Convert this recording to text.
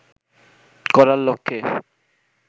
করার লক্ষ্যে